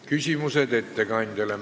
Küsimused ettekandjale.